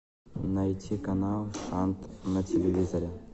найти канал шант на телевизоре